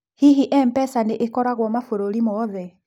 Hihi M-pesa nĩ ĩkoragũo mabũrũri mothe?